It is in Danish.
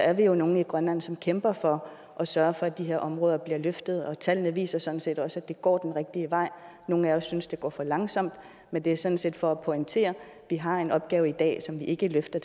at vi jo er nogle i grønland som kæmper for at sørge for at de her områder bliver løftet og tallene viser sådan set også at det går den rigtige vej nogle af os synes det går for langsomt men det er sådan set for at pointere at vi har en opgave i dag som vi ikke løfter